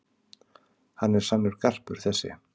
Hann er sannur garpur þessi.